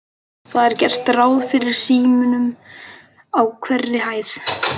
Það er gert ráð fyrir símum á hverri hæð.